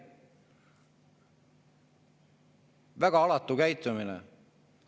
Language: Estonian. Väga alatu käitumine!